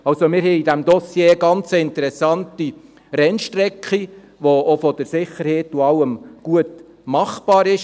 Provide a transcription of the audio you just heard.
Also: Wir haben in diesem Dossier eine ganz interessante Rennstrecke, die auch von der Sicherheit und von allem her gut machbar ist.